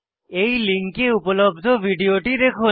এই লিঙ্কে উপলব্ধ ভিডিওটি দেখুন